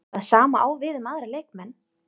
Það sama á við um aðra leikmenn?